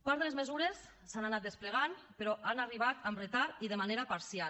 part de les mesures s’han anat desplegant però han arribat amb retard i de manera parcial